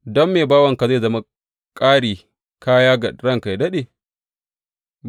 Don me bawanka zai zama ƙari kaya ga ranka yă daɗe?